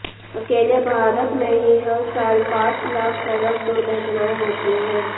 अकेले भारत में ही हर साल पांच लाख सड़क दुर्घटनाएं होती हैं